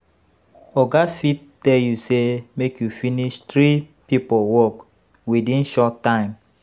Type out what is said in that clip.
Oga fit tell you say make you finish three pipo work within short time